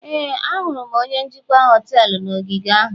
Éè, ahụrụ m onye njikwa họtelu na ogige ahụ